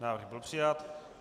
Návrh byl přijat.